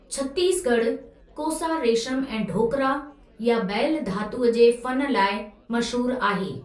छत्तीस ॻढ़ 'कोसा रेशम ऐं ढोकरा' या बैलु धातूअ जे फ़नु लाइ मशहूरु आहे।